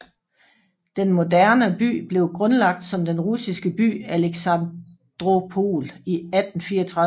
Den moderna by blev grundlagt som den russiske by Aleksandropol i 1834